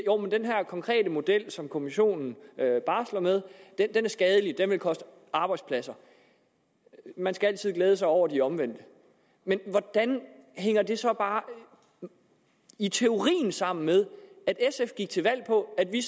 den her konkrete model som kommissionen barsler med er skadelig den vil koste arbejdspladser man skal altid glæde sig over de omvendte men hvordan hænger det så bare i teorien sammen med at sf gik til valg på at vi